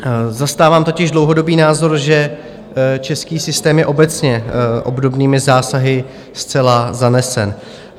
Zastávám totiž dlouhodobý názor, že český systém je obecně obdobnými zásahy zcela zanesen.